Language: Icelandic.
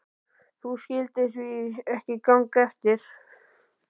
Því skyldi það ekki ganga eftir?